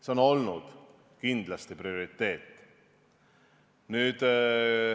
See on olnud kindlasti meie prioriteet.